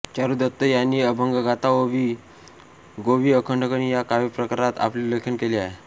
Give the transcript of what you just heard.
चारूदत्त यांनी अभंगगाथा ओवी गोवी अखंडणी या काव्यप्रकारांत आपले लेखन केलेले आहे